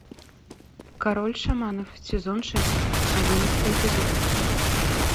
король шаманов сезон шесть одиннадцатый эпизод